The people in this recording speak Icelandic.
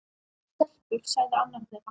Stelpur sagði annar þeirra.